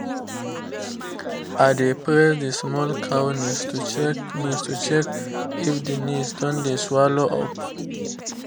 i dey press the small cow knees to check knees to check if the knee don dey swallow up